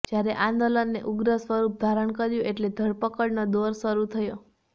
જ્યારે આંદોલને ઉગ્ર સ્વરુપ ધારણ કર્યું એટલે ધરપકડનો દૌર શરુ થયો